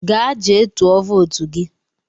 Gaa jee tụọ votu gị!